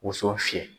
Woso fiyɛ